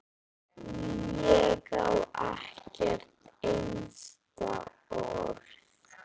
Ég á ekkert einasta orð.